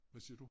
Hvad siger du?